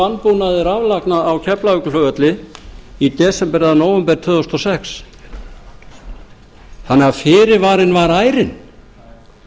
vanbúnaði raflagna á keflavíkurflugvelli í desember eða nóvember tvö þúsund og sex þannig að